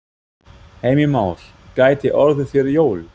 Heimir Már: Gæti orðið fyrir jól?